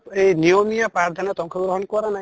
এই নিয়মিয়া পাঠ দানত আংশ গ্ৰহন কৰা নাই